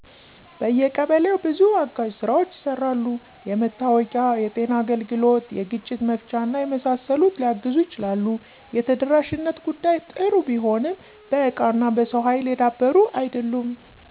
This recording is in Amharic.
በየቀበሌው በዙ አጋዥ ስራዎች ይሰራሉ። የመታወቂያ፣ የጤና አገልግሎት፣ የግጭት መፍቻና የመሳሰሉት ሊያግዙ ይችላሉ። የተደራሽነት ጉዳይ ጥሩ ቢሆንም በእቃና በሰው ሀይል የዳበሩ አይደሉም።